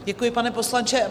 Děkuji, pane poslanče.